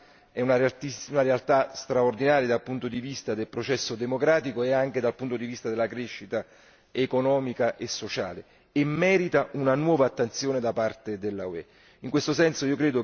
Del resto, Taiwan è una realtà straordinaria dal punto di vista del processo democratico e anche dal punto di vista della crescita economica e sociale e merita una nuova attenzione da parte dell'UE.